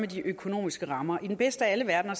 de økonomiske rammer i den bedste af alle verdener